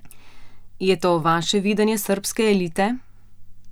Je to vaše videnje srbske elite?